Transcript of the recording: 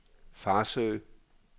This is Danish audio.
Farsø